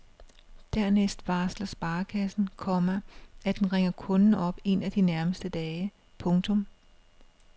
Dernæst varsler sparekassen, komma at den ringer kunden op en af de nærmeste dage. punktum